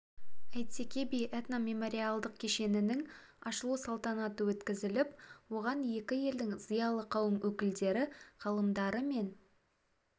әйтеке би этномемориалдық кешенінің ашылу салтанаты өткізіліп оған екі елдің зиялы қауым өкілдері ғалымдары мен